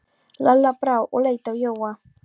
Lalla brá og leit á Jóa.